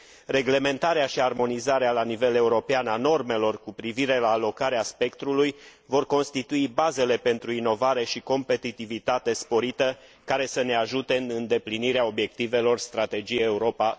Reglementarea și armonizarea la nivel european a normelor cu privire la alocarea spectrului vor constitui bazele pentru inovare și o competitivitate sporită, care să ne ajute în îndeplinirea obiectivelor Strategiei Europa